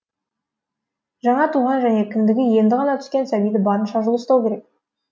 жаңа туған және кіндігі енді ғана түскен сәбиді барынша жылы ұстау керек